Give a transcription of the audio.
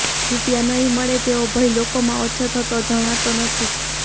રૃપિયા નહીં મળે તેવો ભય લોકોમાં ઓછો થયો જણાતો નથી